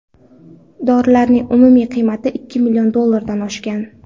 Dorilarning umumiy qiymati ikki million dollardan oshgan.